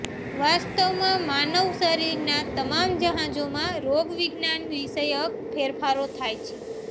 વાસ્તવમાં માનવ શરીરના તમામ જહાજોમાં રોગવિજ્ઞાનવિષયક ફેરફારો થાય છે